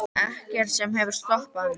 Ekkert sem hefur stoppað mig.